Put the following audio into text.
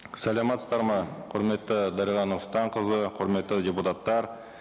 саламатсыздар ма құрметті дариға нұрсұлтанқызы құрметті депутаттар